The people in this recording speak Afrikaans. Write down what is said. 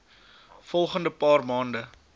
volgende paar maande